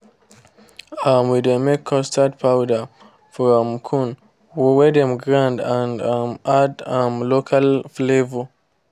um we dey make custard powder from corn wey dem grind and um add um local flavour